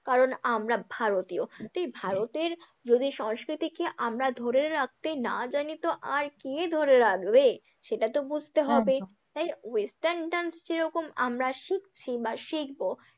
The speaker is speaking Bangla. কারণ আমরা ভারতীয়, তাই ভারতের যদি সংস্কৃতিকে আমরা ধরে রাখতে না জানি তো আর কে ধরে রাখবে? সেটা তো বুঝতে হবে, একদম তাই western dance যেরকম আমরা শিখছি বা শিখবো।